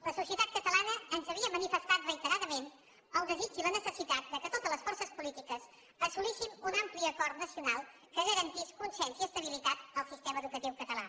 la societat catalana ens havia manifestat reiteradament el desig i la necessitat que totes les forces polítiques assolíssim un ampli acord nacional que garantís consens i estabilitat al sistema educatiu català